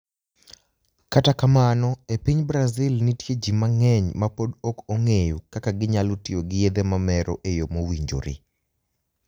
Kata kamano, e piniy Brazil, niitie ji manig'eniy ma pod ok onig'eyo kaka giniyalo tiyo gi yedhe mamero e yo mowinijore.